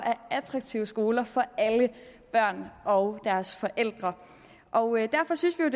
attraktive skoler for alle børn og deres forældre derfor synes vi